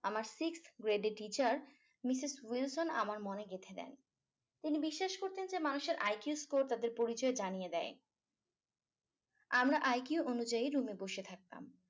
আমার sixth grade এর teacher misses wilson আমার মনে গেথে দেন তিনি বিশ্বাস করতেন যে মানুষের IQ score তাদের পরিচয় জানিয়ে দেয় আমরা IQ অনুযায়ী room এ বসে থাকতাম